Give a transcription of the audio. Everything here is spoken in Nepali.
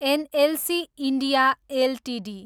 NLC India Ltd